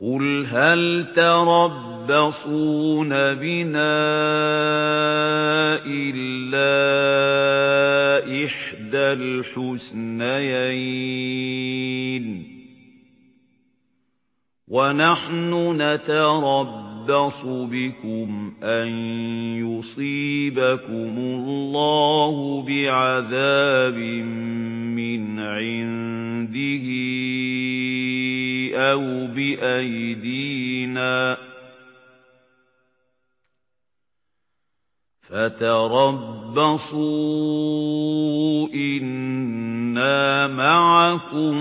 قُلْ هَلْ تَرَبَّصُونَ بِنَا إِلَّا إِحْدَى الْحُسْنَيَيْنِ ۖ وَنَحْنُ نَتَرَبَّصُ بِكُمْ أَن يُصِيبَكُمُ اللَّهُ بِعَذَابٍ مِّنْ عِندِهِ أَوْ بِأَيْدِينَا ۖ فَتَرَبَّصُوا إِنَّا مَعَكُم